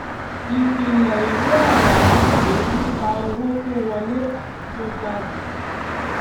ìpìlẹ ìwé ọrọ akòwé nipa owó tó wọlé àti tó jáde